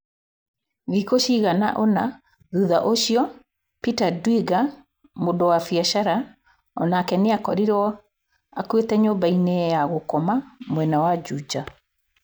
Thikũ cigana ũna thutha ũcio, Peter Ndwiga, mũndũ wa biacara, o nake nĩ akorirũo akuĩte nyũmba-inĩ ya gũkoma mwena wa Juja.